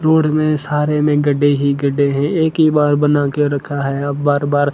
road में सारे में गड्ढे ही गड्ढे हैं एक ही बार बना के रखा है अब बार बार--